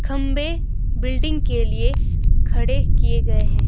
खंबे बिल्डिंग के लिए खड़े किए गए हैं।